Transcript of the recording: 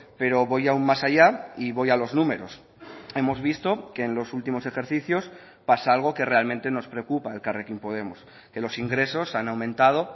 pero voy aún más allá y voy a los números hemos visto que en los últimos ejercicios pasa algo que realmente nos preocupa a elkarrekin podemos que los ingresos han aumentado